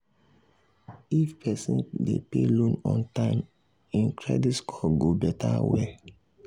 if person dey pay loan on time him credit score go better well.